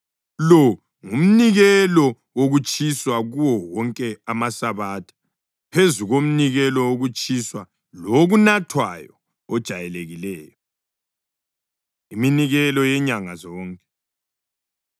Lo ngumnikelo wokutshiswa kuwo wonke amasabatha, phezu komnikelo wokutshiswa lowokunathwayo ojayelekileyo.’ ” Iminikelo Yenyanga Zonke